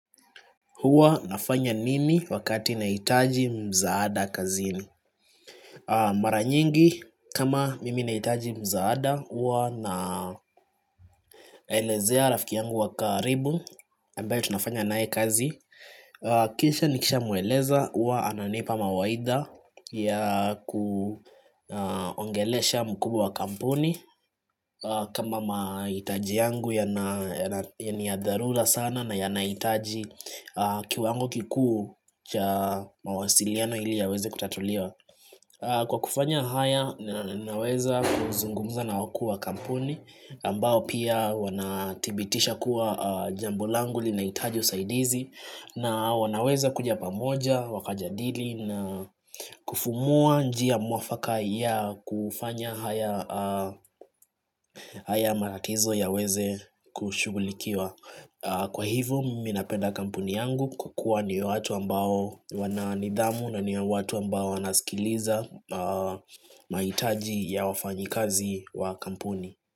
Huwa nafanya nini wakati nahitaji msaada kazini? Mara nyingi kama mimi nahitaji msaada, huwa naelezea rafiki yangu wa karibu ambaye tunafanya naye kazi, kisha nikishamweleza, huwa ananipa mawaidha ya kuongelesha mkubwa wa kampuni kama mahitaji yangu niyadharura sana na yanahitaji kiwango kikuu cha mawasiliano ili yaweze kutatuliwa kwa kufanya haya naweza kuzungumza na wakuu wa kampuni ambao pia wanathibitisha kuwa jambo langu linahitaji usaidizi na wanaweza kuja pamoja wakajadili na kufumua njia mwafaka ya kufanya haya haya matatizo yaweze kushughulikiwa, kwa hivo mimi napenda kampuni yangu kwa kua ni watu ambao wana nidhamu na ni ya watu ambao wanasikiliza mahitaji ya wafanyikazi wa kampuni.